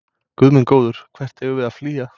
Guð minn góður, hvert eigum við að flýja?